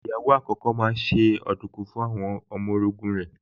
Ìyàwó àkókò náà se ọ̀dùnkún fún àwọn ọmọ orogún rẹ̀